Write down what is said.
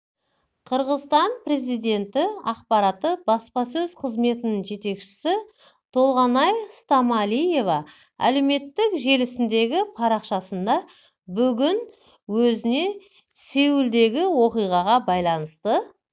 қырғызстан президенті аппараты баспасөз қызметінің жетекшісі толгонай стамалиева әлеуметтік желісіндегі парақшасында бүгін өзіне сеулдегі оқиғаға байланысты